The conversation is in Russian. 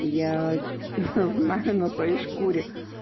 я знаю на своей шкуре